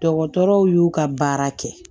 Dɔgɔtɔrɔw y'u ka baara kɛ